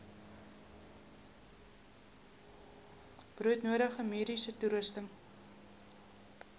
broodnodige mediese toerusting